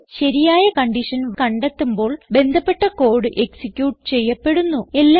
ഇത് ശരിയായ കൺഡിഷൻ കണ്ടെത്തുമ്പോൾ ബന്ധപ്പെട്ട കോഡ് എക്സിക്യൂട്ട് ചെയ്യപ്പെടുന്നു